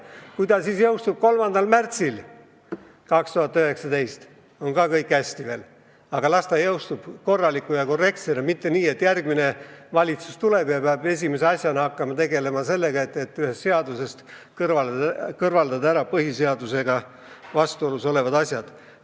Kui seadus jõustub 3. märtsil 2019, on ka kõik hästi, aga las see jõustub korrektsena, mitte nii, et järgmine valitsus tuleb ja peab esimese asjana hakkama tegelema sellega, et ühest seadusest kõrvaldada põhiseadusega vastuolus olevad sätted.